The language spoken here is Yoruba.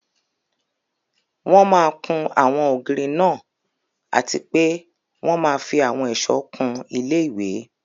Wọ́n máa kún àwọn ògiri náà àti pé wọ́n máa fí àwọn ẹ̀sọ̀ kún ilé-ìwé